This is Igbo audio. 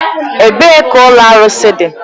Ebee ka ụlọ arụsị dị?